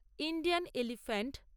Indian elephant